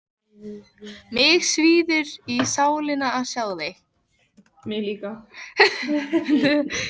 Mig svíður í sálina að sjá þig.